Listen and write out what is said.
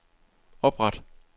opret